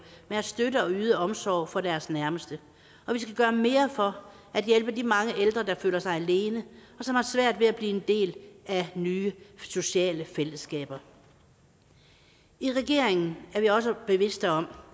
med at støtte og yde omsorg for deres nærmeste og vi skal gøre mere for at hjælpe de mange ældre der føler sig alene og som har svært ved at blive en del af nye sociale fællesskaber i regeringen er vi også bevidst om